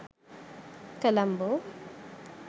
colombo